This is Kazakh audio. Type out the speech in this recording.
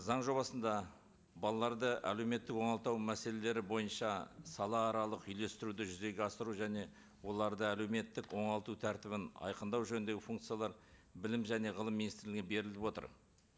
заң жобасында балаларды әлеуметтік оңалту мәселелері бойынша салааралық үйлестіруді жүзеге асыру және оларды әлеуметтік оңалту тәртібін айқындау жөніндегі функциялар білім және ғылым министрлігіне беріліп отыр